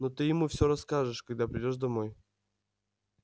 но ты ему всё расскажешь когда придёшь домой